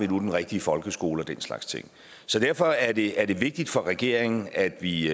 den rigtige folkeskole og den slags ting derfor er det er det vigtigt for regeringen at vi